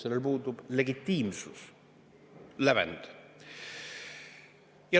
Sellel puudub legitiimsus, lävend.